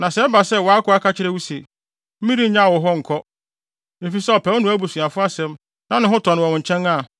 Na sɛ ɛba sɛ wʼakoa ka kyerɛ wo se, “Merennyaw wo hɔ nkɔ,” efisɛ ɔpɛ wo ne wʼabusuafo asɛm na ne ho tɔ no wɔ wo nkyɛn a,